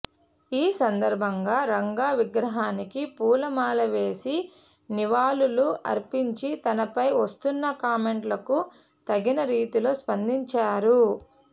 ఈ సందర్భంగా రంగా విగ్రహానికి పూల మాల వేసి నివాళులు అర్పించి తనపై వస్తున్న కామెంట్లకు తగిన రీతిలో స్పందించారు